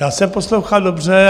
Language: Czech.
Já jsem poslouchal dobře.